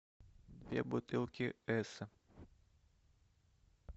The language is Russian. две бутылки эсса